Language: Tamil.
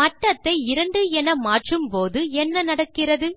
மட்டத்தை 2 என மாற்றும் போது என்ன நடக்கிறது 160